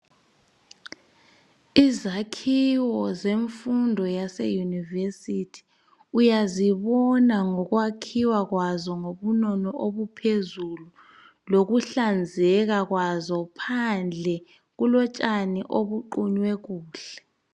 Izakhiwo zemfundo yaseyunivesithi uyazibona ngokwakhiwa kwazo ngobunono obuphezulu lokuhlanzeka kwazo phandle kulotshani obuqunywe kuhle.